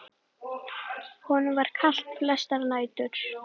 Honum var kalt flestar nætur.